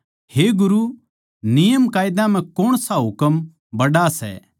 हे गुरू नियमकायदा म्ह कौणसा हुकम बड्ड़ा सै